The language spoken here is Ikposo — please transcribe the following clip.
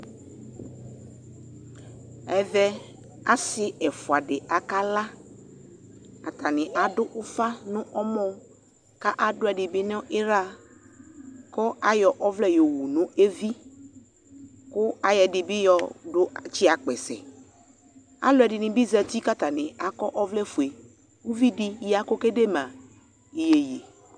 Ɛvɛ asi ɛfʋa di akala Atani adʋ ʋfa nʋ ɛmɔ kʋ adʋ ɛdi bi niɣla, kʋ ayɔ ɔvlɛ yɔwu nɛvi kʋ ayɔ ɛdi bi yɔtsi akpɛsɛ Alʋɛdini bi zati kʋ atani akɔ ɔvlɛ fue Uvi di ya kʋ okedema iyeye